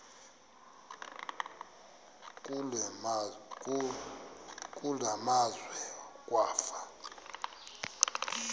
kule meazwe kwafa